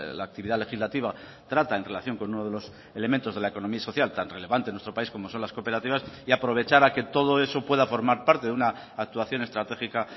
la actividad legislativa trata en relación con uno de los elementos de la economía social tan relevante en nuestro país como son las cooperativas y aprovechar a que todo eso pueda formar parte de una actuación estratégica